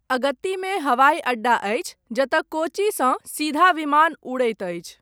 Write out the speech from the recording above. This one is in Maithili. अगत्तीमे हवाइ अड्डा अछि, जतय कोच्चिसँ सीधा विमान उड़ैत अछि।